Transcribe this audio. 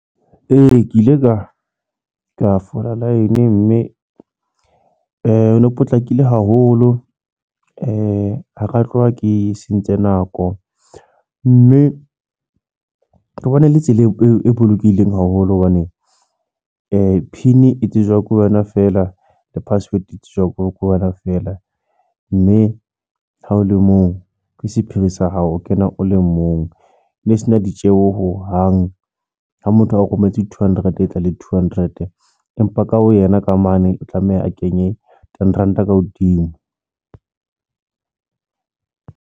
Ee, ke ile ka fola line mme ho no potlakile haholo ha ka tloha ke sentse nako mme ke bona e le tsela e bolokehileng haholo hobane P_I_N e tsejwa ke wena, fela le password e tsejwa ke wena fela. Mme ha o le moo ke sephiri sa hao, o kena o le mong, mme sena ditjeho hohang ha motho a o rometse two hundred, etsa ele two hundred, empa ka ho yena ka mane o tlameha a kenye ten ranta ka hodimo.